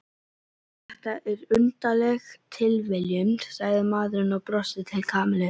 Þetta er undarleg tilviljun sagði maðurinn og brosti til Kamillu.